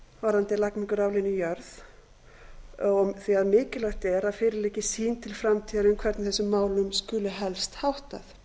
varðandi lagningu raflína í jörð því mikilvægt er að fyrir liggi sýn til framtíðar um hvernig þessum málum skuli helst háttað